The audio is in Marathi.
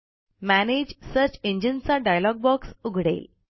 मॅनेज सर्च इंजिन चा डायलॉग बॉक्स उघडेल